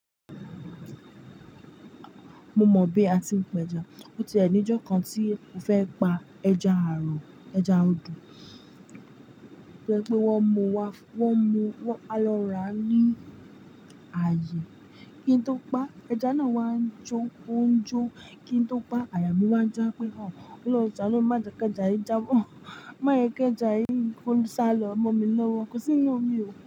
Mo mọ̀ bí a ti ń pẹja. Ó ti ẹni ìjọ kan tí mó fẹ́ pa ẹja àrọ̀, ẹja odò. To je pé wọ́n mú wa, wọ́n mú, wọ́n, a lọ ra ní ààyè. Kí n tó pa, ẹja náà wá ń jó, ó ń jó. Kí n tó pa, àyà mí wá ń já pé, ọlọ́hun sha nu mi, máa jẹ kẹjà yìí jábọ̀. Májẹ́ kẹjà yìí, ko ṣálọ mó mi lọ́wọ́. Kò sí n inú omi o.